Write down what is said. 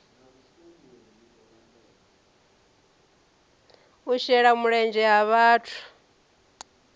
u shela mulenzhe ha vhathu